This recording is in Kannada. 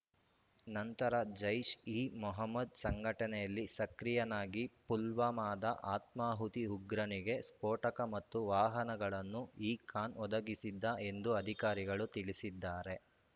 ನಂತರ ಜೈಷ್ಇಮೊಹಮದ್ ಸಂಘಟನೆಯಲ್ಲಿ ಸಕ್ರಿಯನಾಗಿ ಪುಲ್ವಾಮಾದ ಆತ್ಮಾಹುತಿ ಉಗ್ರನಿಗೆ ಸ್ಫೋಟಕ ಮತ್ತು ವಾಹನಗಳನ್ನು ಈ ಖಾನ್ ಒದಗಿಸಿದ್ದ ಎಂದು ಅಧಿಕಾರಿಗಳು ತಿಳಿಸಿದ್ದಾರೆ